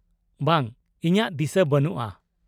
ᱵᱟᱝ, ᱤᱧᱟᱹᱜ ᱫᱤᱥᱟᱹ ᱵᱟᱹᱱᱩᱜᱼᱟ ᱾